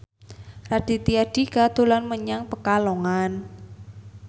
Raditya Dika dolan menyang Pekalongan